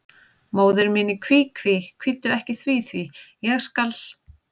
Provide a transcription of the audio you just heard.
Móðir mín í kví, kví, kvíddu ekki því, því, ég skal.